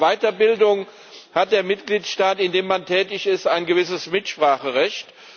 Aber bei der Weiterbildung hat der Mitgliedstaat, in dem man tätig ist, ein gewisses Mitspracherecht.